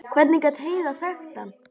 Hvernig gat Heiða þekkt hann?